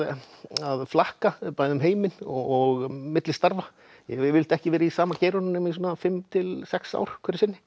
að flakka bæði um heiminn og milli starfa ég hef yfirleitt ekki verið í sama geiranum nema svona fimm til sex ár hverju sinni